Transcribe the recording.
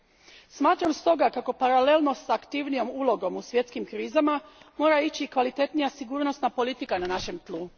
Stoga, smatram kako paralelno s aktivnijom ulogom u svjetskim krizama mora ići kvalitetnija sigurnosna politika na našem tlu.